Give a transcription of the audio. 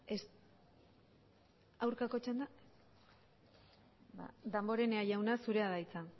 ez aurkako txanda damborenea jauna zurea da hitza